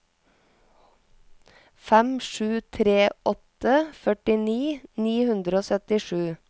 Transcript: fem sju tre åtte førtini ni hundre og syttisju